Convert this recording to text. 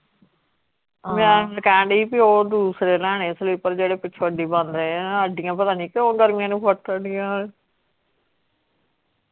ਮੈਂ ਕਹਿਣ ਡੀ ਬੀ ਉਹ ਦੂਸਰੇ ਲੈਣੇ slipper ਜਿਹੜੇ ਪਿੱਛੋਂ ਅੱਡੀ ਬੰਦ ਅੱਡੀਆਂ ਪਤਾ ਨੀ ਕਿਉਂ ਗਰਮੀਆਂ ਨੂੰ ਫੁੱਟ ਦੀਆਂ .